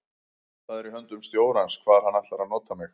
Það er í höndum stjórans hvar hann ætlar að nota mig.